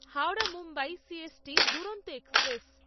Howrah Mumbai C S T Duronto express